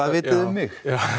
vitið þið um mig